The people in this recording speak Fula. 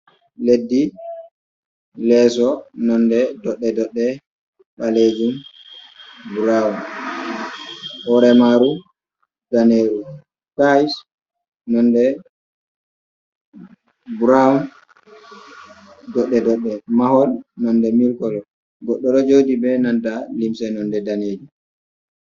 Leddi leso nonde doddedodde balejum broun , woremaru daneru paish nonde broun doddedodde mahol nonde mil kolo goddo dojodi be nanda limse nonde daneji.